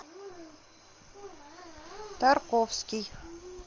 тарковский